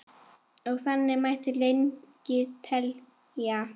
Og þannig mætti lengi telja.